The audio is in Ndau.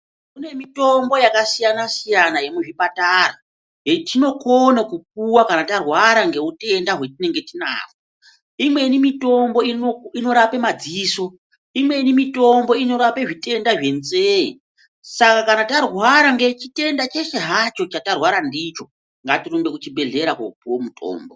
Kunemitombo yakasiyana siyana yemuzvipatara, yetinokona kupuwa kana tarwara ngewutenda watinenge tinawo. Imweni mitombo, inorape madziso. Imweni mitombo, inorape zvitenda zvendzeye. Saka kana tarwara ngechitenda chechihacho chatarwara ndicho, ngatirumbe kuchibhedhlera kopuwa mutombo.